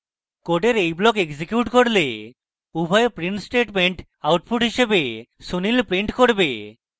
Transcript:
code এই block execute করলে উভয় print statements output হিসাবে sunil print করবে